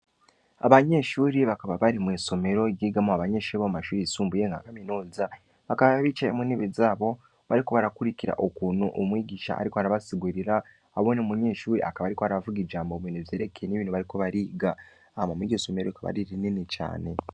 Abanyeshure bakaba bari mwisomero ryigamwo bomumashure yisumbuye bà kaminuza ,bakaba bicaye muntebe zabo, Baeiko barakurikira ukuntu umwigisha ariko arabasigurira ,hamwe n'umunyeshure ariko aravuga ijambo, kubintu vyerekeye ivyo bariko bariga, hama mwiryo somero akaba ari rinini cane.